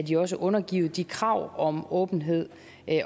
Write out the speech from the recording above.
jo også underlagt de krav om åbenhed